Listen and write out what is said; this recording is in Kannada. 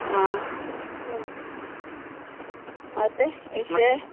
ಆಹ್ ಮತ್ತೆ ವಿಷಯ.